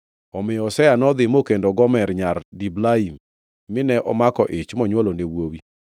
Omiyo Hosea nodhi mokendo Gomer nyar Diblaim, mine omako ich monywolone wuowi.